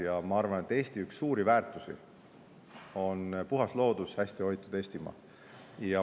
Ja ma arvan, et Eesti üks suuri väärtusi on puhas loodus ja hästi hoitud Eestimaa.